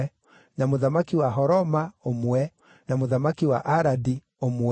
na mũthamaki wa Horoma, ũmwe, na mũthamaki wa Aradi, ũmwe,